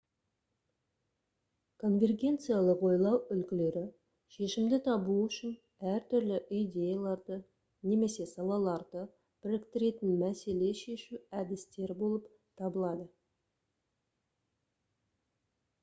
конвергенциялық ойлау үлгілері шешімді табу үшін әртүрлі идеяларды немесе салаларды біріктіретін мәселе шешу әдістері болып табылады